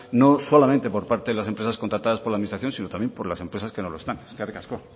no solamente por parte de las empresas contratadas por la administración sino también por las empresas que no la están eskerrik asko